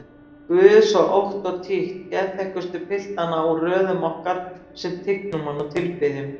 Guð svo ótt og títt geðþekkustu piltana úr röðum okkar sem tignum hann og tilbiðjum?